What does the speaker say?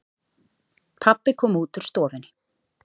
Pabbi kom út úr stofunni.